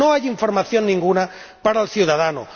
no hay información alguna para el ciudadano